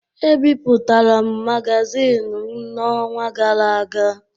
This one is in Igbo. Ebipụtara m magazin m n’ọnwa gara aga.